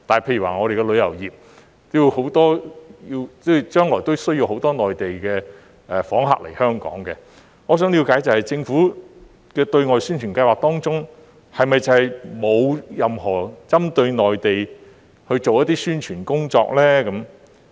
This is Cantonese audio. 例如我們的旅遊業將來需要很多內地訪客來香港，我想了解的是，政府的對外宣傳計劃當中，是否沒有任何針對內地去做宣傳工作？